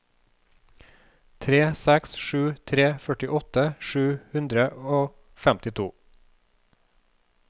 tre seks tre tre førtiåtte sju hundre og femtito